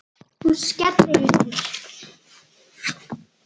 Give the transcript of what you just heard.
Hún skellir upp úr.